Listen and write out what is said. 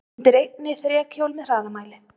Undir einni þrekhjól með hraðamæli.